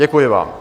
Děkuji vám.